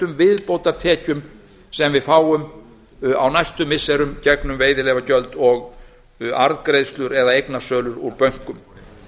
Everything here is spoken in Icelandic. viðbótartekjum sem við fáum á næstu missirum gegnum veiðileyfagjöld og við arðgreiðslur eða eignasölu úr bönkum